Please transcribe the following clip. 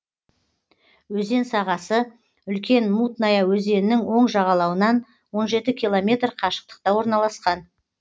өзен сағасы үлкен мутная өзенінің оң жағалауынан он жеті километр қашықтықта орналасқан